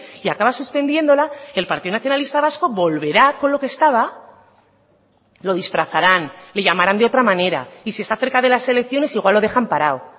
y acaba suspendiéndola el partido nacionalista vasco volverá con lo que estaba lo disfrazarán le llamarán de otra manera y si está cerca de las elecciones igual lo dejan parado